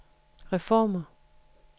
reformer